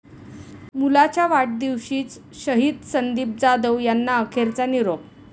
मुलाच्या वाढदिवशीच शहीद संदीप जाधव यांना अखेरचा निरोप